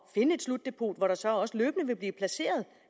finde et slutdepot hvor der så også løbende vil blive placeret